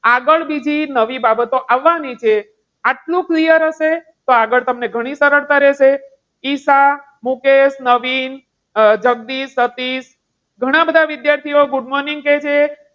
આગળ બીજી નવી બાબતો આવવાની છે આટલું clear હશે તો, આગળ તમને ઘણી સરળતા રહેશે. ઈશા, મુકેશ, નવીન, જગદીશ, સતીશ ઘણા બધા વિદ્યાર્થીઓ good morning કે છે.